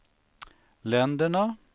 länderna